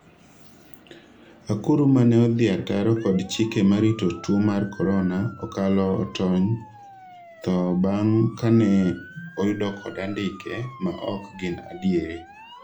akuru mane odhi ataro kod chike marito tuo mar Korona okalo otony tho bang' kane oyudo kod andike ma ok gin adieri